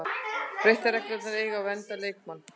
Breyttar reglur eiga að vernda leikmenn